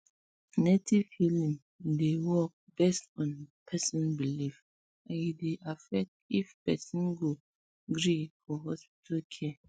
native healing um dey um work based on person belief and e dey affect if person go gree for hospital care